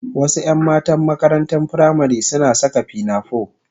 Wasu 'yan matan makarantar firamari suna saka pinafore